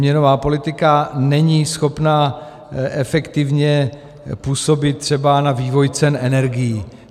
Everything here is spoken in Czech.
Měnová politika není schopna efektivně působit třeba na vývoj cen energií.